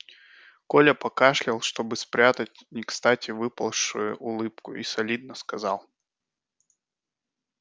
коля покашлял чтобы спрятать некстати выползшую улыбку и солидно сказал